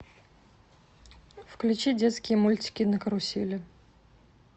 включи детские мультики на карусели